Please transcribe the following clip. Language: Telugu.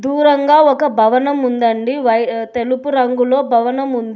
దూరంగా ఒక భవనం ఉందండి వై తెలుపు రంగులో భవనం ఉంది.